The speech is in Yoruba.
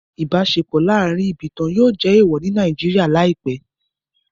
Ibaṣepọ laarin ibatan yóò jẹ eewọ ni Naijiria laipẹ